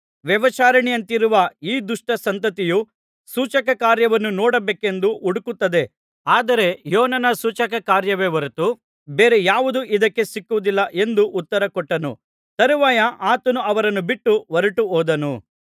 ವ್ಯಭಿಚಾರಿಣಿಯಂತಿರುವ ಈ ದುಷ್ಟ ಸಂತತಿಯು ಸೂಚಕಕಾರ್ಯವನ್ನು ನೋಡಬೇಕೆಂದು ಹುಡುಕುತ್ತದೆ ಆದರೆ ಯೋನನ ಸೂಚಕಕಾರ್ಯವೇ ಹೊರತು ಬೇರೆ ಯಾವುದೂ ಇದಕ್ಕೆ ಸಿಕ್ಕುವುದಿಲ್ಲ ಎಂದು ಉತ್ತರ ಕೊಟ್ಟನು ತರುವಾಯ ಆತನು ಅವರನ್ನು ಬಿಟ್ಟು ಹೊರಟು ಹೋದನು